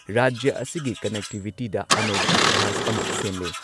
ꯔꯥꯖ꯭ꯌ ꯑꯁꯤꯒꯤ ꯀꯟꯅꯦꯛꯇꯤꯚꯤꯇꯤꯗ ꯑꯅꯧꯕ ꯏꯇꯤꯍꯥꯁ ꯑꯃ ꯁꯦꯝꯂꯦ ꯫